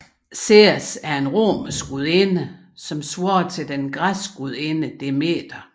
Ceres er en romersk gudinde svarende til den græske gudinde Demeter